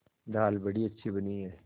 दाल बड़ी अच्छी बनी है